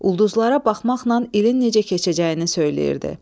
Ulduzlara baxmaqla ilin necə keçəcəyini söyləyirdi.